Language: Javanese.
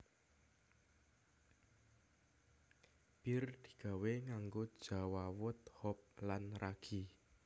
Bir digawé nganggo jawawut hop lan ragi